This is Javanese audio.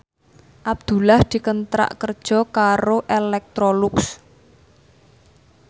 Abdullah dikontrak kerja karo Electrolux